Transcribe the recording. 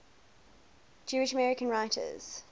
jewish american writers